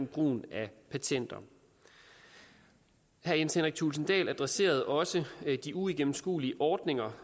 brugen af patenter herre jens henrik thulesen dahl adresserede også de uigennemskuelige ordninger